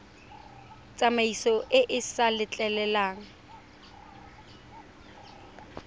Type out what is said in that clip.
tsamaiso e e sa letleleleng